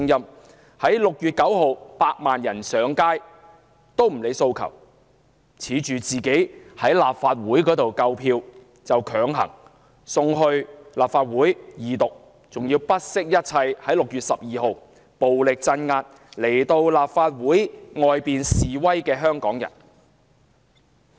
她亦不理會6月9日百萬人上街的訴求，自恃在立法會內有足夠支持，就強行恢復《條例草案》的二讀辯論，更不惜一切在6月12日暴力鎮壓到立法會大樓外示威的香港人。